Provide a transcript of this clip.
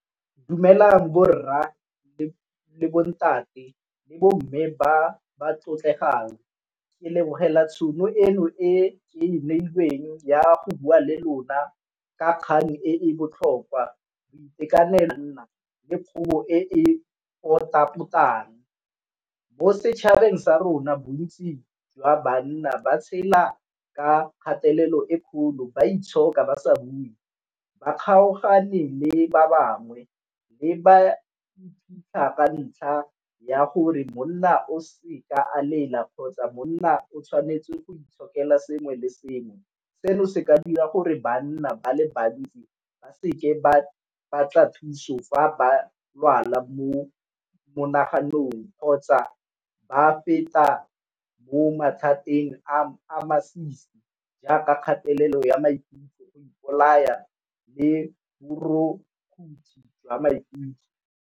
Dumelang borra le bontate le bo mme ba ba tlotlegang ke lebogela tšhono eno ke neilweng ya go bua le lona ka kgang e botlhokwa. le e e pota-potang. Mo setšhabeng sa rona bontsi jwa banna ba tshela ka kgatelelo e kgolo ba itshoka ba sa bue, ba kgaogane le ba bangwe le ba ka ntlha ya gore monna o se ka a lela kgotsa monna o tshwanetse go itshokela sengwe le sengwe. Seno se ka dira gore ba nna ba le bantsi ba seke ba batla thuso fa ba lwala mo monaganong kgotsa ba feta mo mathateng a a masisi jaaka kgatelelo ya maikutlo, go ipolaya, le borukutlhi jwa maikutlo.